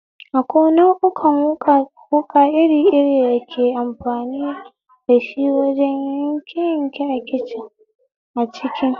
Akwai nau'ukan wuƙa iri iri da ake amfani dashi wajen yanke yanke a kicin